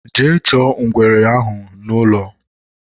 Jee chọọ ngwere n'ahụ ụlọ